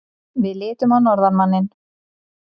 Við litum á norðanmanninn.